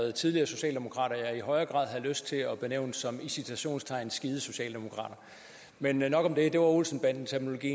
er tidligere socialdemokrater som jeg i højere grad havde lyst til at benævne som i citationstegn skide socialdemokrater men nok om det det var olsen banden terminologi